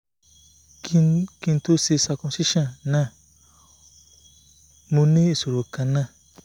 ki n to se circumcision na mo ni isoro kan na